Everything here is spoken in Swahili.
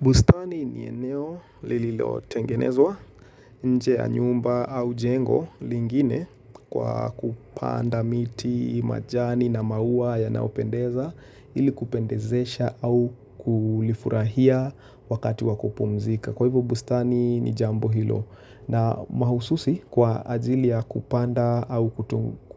Bustani ni eneo li li lo tengenezwa nje ya nyumba au jengo lingine kwa kupanda miti, majani na maua ya nayopendeza ili kupendezesha au kulifurahia wakati wa kupumzika. Kwa hivu bustani ni jambo hilo na mahususi kwa ajili ya kupanda au